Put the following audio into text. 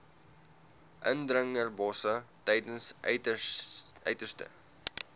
indringerbosse tydens uiterste